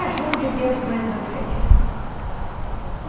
Ah, João de Deus Bueno dos Reis. Uhum.